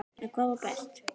En hvað var best?